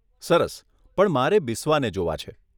સરસ, પણ મારે બિસ્વાને જોવા છે.